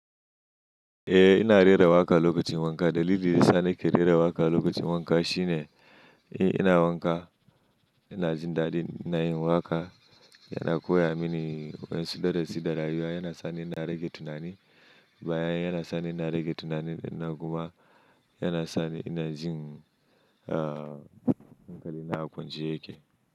Eh ina rera waƙa lokacin wanka. Dalilin da ya sa ni ke rera waƙa lokacin wanka shine, ina wanka ina jin daɗi na yin waƙa, yana koya mini wasu darasi da rayuwa, yana sa ni ina rage tunani, baya yana sa ni ina rage tunani na kuma yana sa ni ina jin, ah, hankali na kwance yake.